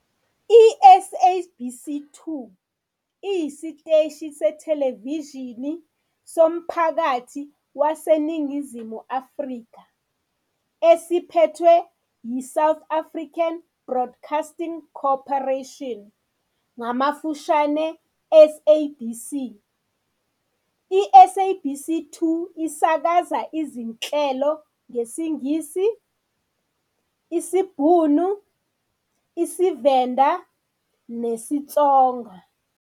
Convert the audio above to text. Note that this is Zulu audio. I-SABC 2 iyisiteshi sethelevishini somphakathi saseNingizimu Afrika esiphethwe yiSouth African Broadcasting Corporation ngamafushane SABC. ISABC 2 isakaza izinhlelo ngesiNgisi, isiBhunu, isiVenda nesiTsonga.